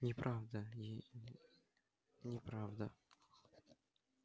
неправда ей неправда